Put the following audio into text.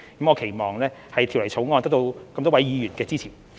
我期望《條例草案》得到議員支持。